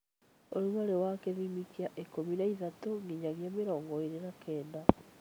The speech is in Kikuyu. Ũrugarĩ wa gĩthimi kĩa ikũmi na ithatũ nginyagia mĩrongo ĩrĩ na Kenda